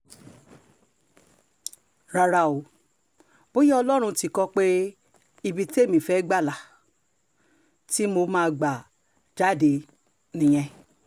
rárá o bóyá ọlọ́run tí kó o pé ibi témi fẹ́ẹ́ gbà la um ti mọ máa gbà jáde um nìyẹn